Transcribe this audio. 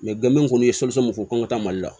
gɔbɔni kɔni ye mɔmu fɔ k'an ka taa mali la